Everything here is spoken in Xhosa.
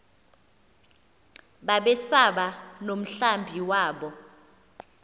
babesaba nomhlambi wabo